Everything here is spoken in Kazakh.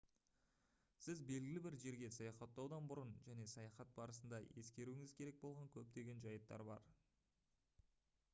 сіз белгілі бір жерге саяхатаудан бұрын және саяхат барысында ескеруіңіз керек болған көптеген жайттар бар